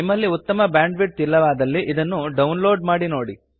ನಿಮ್ಮಲ್ಲಿ ಉತ್ತಮ ಬ್ಯಾಂಡ್ವಿಡ್ತ್ ಇಲ್ಲವಾದಲ್ಲಿ ಇದನ್ನು ಡೌನ್ ಲೋಡ್ ಮಾಡಿ ನೋಡಿ